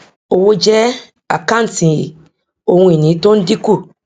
owó jẹ àkántì ohun ìní tó ń dínkù